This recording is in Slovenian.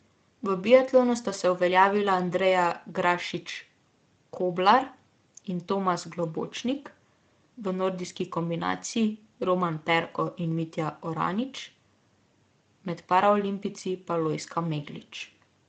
V biatlonu sta se uveljavila Andreja Grašič Koblar in Tomas Globočnik, v nordijski kombinaciji Roman Perko in Mitja Oranič, med paraolimpijci pa Lojzka Meglič.